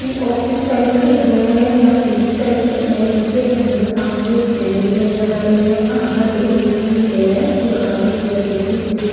कि office type लग रहा है या क्लिनिक टाइप लग रहा है जिसके अंदर सामने एक सिनेरि नजर आ रही है आधा टेबल दिखाई दे रहा है और आधी चेयर दिखाई दे रही है ।